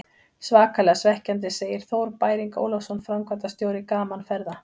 Svakalega svekkjandi, segir Þór Bæring Ólafsson, framkvæmdastjóri Gaman Ferða.